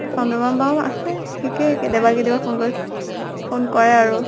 চন্দ্ৰমা বাও আছে, ঠিকে। কেতিয়াবা কেতিয়াবা phone কৰে। phone কৰে আৰু।